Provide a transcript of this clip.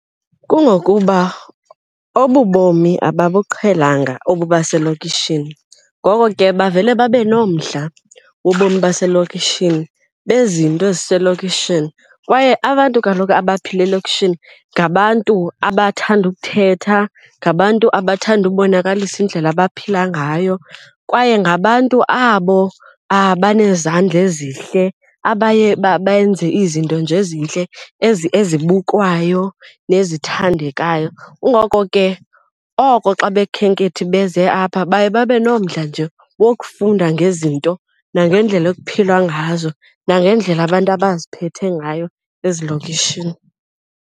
Kungokuba obu bomi ababuqhelanga obu baselokishini, ngoko ke bavele babe nomdla wobomi baselokishini bezinto eziselokishini. Kwaye abantu kaloku abaphila elokishini ngabantu abathanda ukuthetha, ngabantu abathanda ubonakalisa indlela abaphila ngayo. Kwaye ngabantu abo abanezandla ezihle abaye benze izinto nje ezintle ezibukwayo nezithandekayo. Kungoko ke oko xa abakhenkethi beze apha baye babe nomdla nje wokufunda ngezinto nangendlela ekuphilwa ngazo nangendlela abantu abaziphethe ngayo ezilokishini.